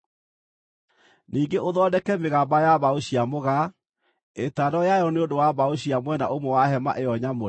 “Ningĩ ũthondeke mĩgamba ya mbaũ cia mũgaa: ĩtano yayo nĩ ũndũ wa mbaũ cia mwena ũmwe wa hema ĩyo nyamũre,